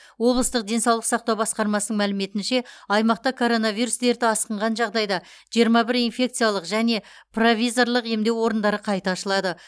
облыстық денсаулық сақтау басқармасының мәліметінше аймақта коронавирус дерті асқынған жағдайда жиырма бір инфекциялық және провизорлық емдеу орындары қайта ашылады